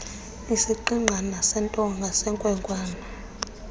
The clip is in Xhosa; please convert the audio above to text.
isigqigqana sentonga senkwenkwana